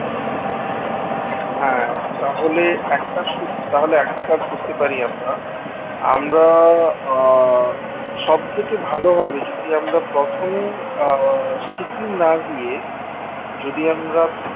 হ্যাঁ তাহলে একটা সুবি একটা কাজ করতে পারি আমরা, আমরা আহ সব থেকে ভালো হবে যদি আমরা প্রথমে আহ সিকিম না গিয়ে যদি আমরা